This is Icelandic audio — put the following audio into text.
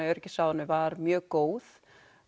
öryggisráðinu var mjög góð